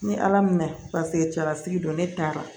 Ni ala mɛna paseke cɛlasigi don ne taara